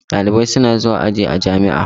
Ɗalibai suna zuwa aji a jami'a.